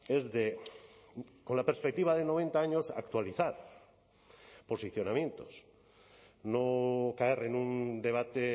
es de con la perspectiva de noventa años actualizar posicionamientos no caer en un debate